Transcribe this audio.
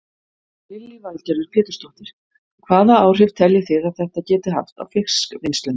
Lillý Valgerður Pétursdóttir: Hvaða áhrif telji þið að þetta geti haft á fiskvinnsluna?